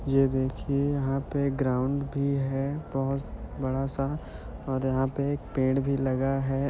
यह देखिये यहां पे ग्राउड़ भी है बहोत बड़ा सा और यहा पे एक पेड़ भी लगा है।